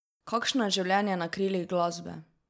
Kakšno je življenje na krilih glasbe?